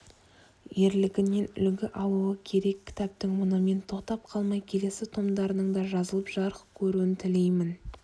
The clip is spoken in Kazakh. ерлігінен үлгі алуы керек кітаптың мұнымен тоқтап қалмай келесі томдарының да жазылып жарық көруін тілеймін